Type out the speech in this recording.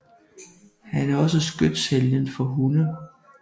Han er også skytshelgen for hunde